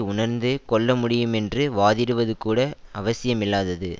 உணர்ந்து கொள்ளமுடியுமென்று வாதிடுவது கூட அவசியமில்லாதது